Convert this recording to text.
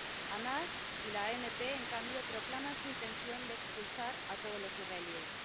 Hamás y la ANP, en cambio, proclaman su intención de expulsar a todos los israelíes.